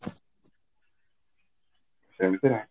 ସେମିତି ନାଇଁ